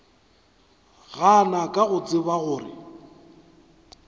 gana ka go tseba gore